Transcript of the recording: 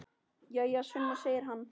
Jæja, Sunna, segir hann.